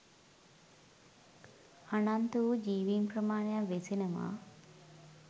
අනන්ත වූ ජීවීන් ප්‍රමාණයක් වෙසෙනවා